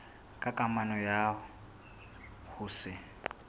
ka kamano ya ho se